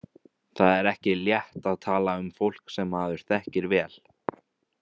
Það er ekki létt að tala um fólk sem maður þekkir vel.